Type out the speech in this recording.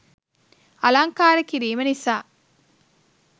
අලංකාර කිරීම නිසා